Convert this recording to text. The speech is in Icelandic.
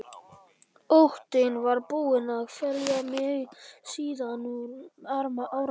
Óttinn var búinn að kvelja mig síðan um áramót.